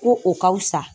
Ko o ka wusa